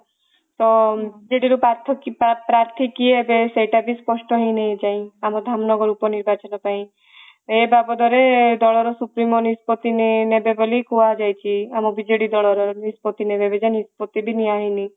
ତ ସେ ଯୋଉ ପାର୍ଥ କି ପାର୍ଥୀ କିଏ ଏବେ ସେଇଟା ବି ସ୍ପଷ୍ଠ ହେଇନି ଏ ଯାଏ ଆମ ଧାମନଗର ଉପ ନିର୍ବାଚନ ପାଇଁ ଏ ବାବଦରେ ଦଳର ସୁପ୍ରିମ ନିଷ୍ପତି ନେବେ ବୋଲି କୁହା ଯାଇଛି ଆମ ବିଜେଡି ଦଳର ର ନିଷ୍ପତି ନିଷ୍ପତି ବି ନିଆ ହେଇନି